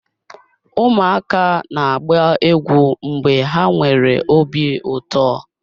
Ụmụaka na-agba egwu mgbe ha nwere obi ụtọ.